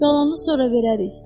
Qalanı sonra verərik.